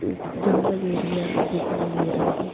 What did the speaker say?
एक जंगल एरिया दिखाई दे रहा है।